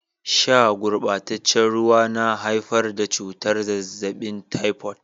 Sha gurbataccen ruwa na haifar da cutar zazzabin taifot.